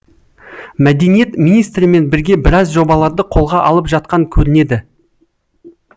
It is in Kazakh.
мәдениет министрімен бірге біраз жобаларды қолға алып жатқан көрінеді